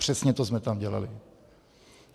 Přesně to jsme tam dělali.